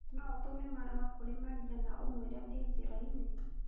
No ũtũme marũa kũrĩ Maria na ũmwĩre ndĩ njĩra-inĩ.